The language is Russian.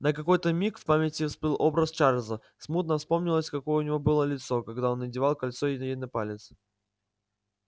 на какой-то миг в памяти всплыл образ чарлза смутно вспомнилось какое у него было лицо когда он надевал кольцо ей на палец